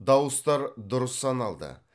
дауыстар дұрыс саналды